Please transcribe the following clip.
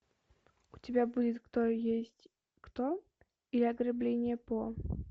у тебя будет кто есть кто или ограбление по